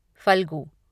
Phalgu